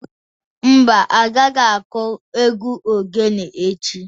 Mba, a gaghi-aku egwu oghene echi.